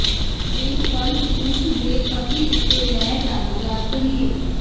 ਇਹ ਫਰਜ਼ ਉਸ ਦੇ ਪਤੀ ਉੱਤੇ ਲੈ ਜਾਵੇਗਾ ਕਰੀਏ